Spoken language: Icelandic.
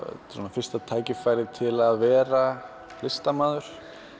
fyrsta tækifærið til að vera listamaður